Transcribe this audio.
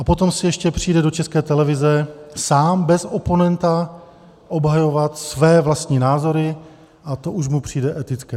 A potom si ještě přijde do České televize sám bez oponenta obhajovat své vlastní názory a to už mu přijde etické.